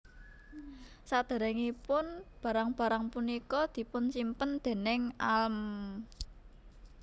Sadéréngipun barang barang punika dipunsimpen déning Alm